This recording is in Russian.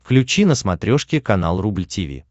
включи на смотрешке канал рубль ти ви